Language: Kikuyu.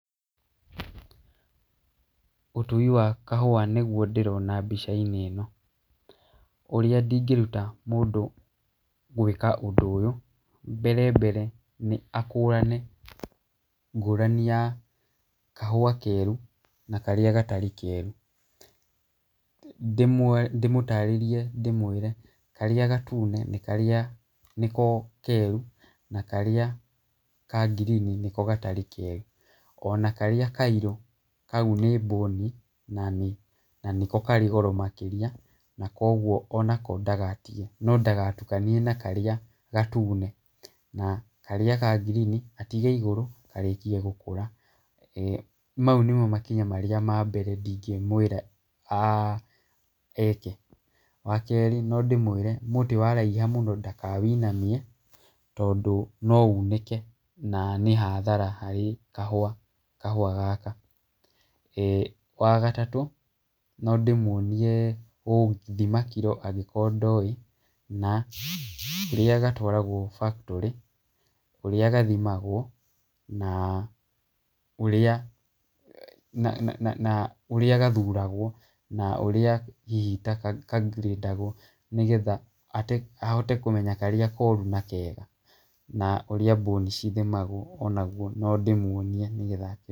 Ũtui wa kahua nĩgwo ndĩrona mbica-inĩ ĩno ,ũrĩa ingĩruta mũndũ gwĩka ũndũ ũyũ , mbere mbere nĩ akũrane ngũrani ya kahua keru na karĩa gatarĩ keru, ndĩmũ ndĩmũtarĩrie ndĩmwĩre karĩa gatune nĩko keru, na karĩa ka ngirini nĩko gatarĩ keru, ona karĩa kairũ kau nĩ mbũni, na nĩko karĩ goro makĩria, na kogwo onako ndagatige , no ndagatukanie na karĩa gatune , na karĩa ka ngirini atige igũrũ karĩkie gũkũra, mau nĩmo makinya ma mbere ingĩmwĩra a eke, wa kerĩ no ndĩmwĩre mũtĩ wa raiha mũno, ndaka wĩinamie , tondũ no unĩke na nĩ hathara harĩ kahua kahua gaka ,e wagatatũ no ndĩmwonie gũthima kiro angĩkorwo ndoĩ , na rĩrĩa gatwaragwo factory kũrĩa gathimagw,o na ũrĩa na na na ũrĩa gathuragwo, na ũrĩa hihi kangirĩtagwo nĩgetha ate ahote kũmenya karĩa koru na kega , na ũrĩa bũni cithimagwo o nagwo no ndĩmwonie nĩgetha akĩ.